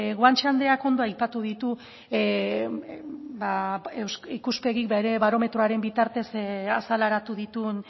guanche andreak ondo aipatu ditu ikuspegik bere barometroaren bitartez azaleratu dituen